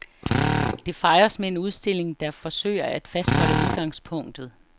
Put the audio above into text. Det fejres med en udstilling, der forsøger at fastholde udgangspunktet.